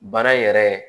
Baara yɛrɛ